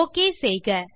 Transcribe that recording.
OKசெய்க